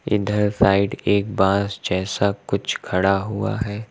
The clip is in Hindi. इधर साइड एक बांस जैसा कुछ खड़ा हुआ है।